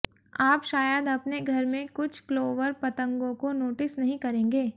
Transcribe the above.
आप शायद अपने घर में कुछ क्लॉवर पतंगों को नोटिस नहीं करेंगे